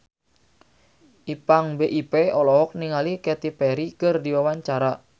Ipank BIP olohok ningali Katy Perry keur diwawancara